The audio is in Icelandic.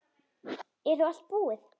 Er þá allt búið?